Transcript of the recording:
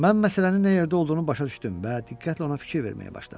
Mən məsələnin nə yerdə olduğunu başa düşdüm və diqqətlə ona fikir verməyə başladım.